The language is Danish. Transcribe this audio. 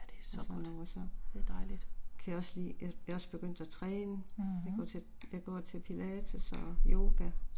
Og så noget så. Kan jeg også lide at, jeg er også begyndt at træne. Jeg går til jeg går til pilates og yoga